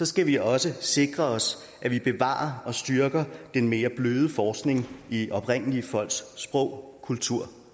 skal vi også sikre os at vi bevarer og styrker den mere bløde forskning i oprindelige folks sprog kultur